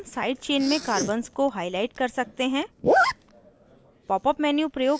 उसी प्रकार हम side chain में carbons को highlight कर सकते हैं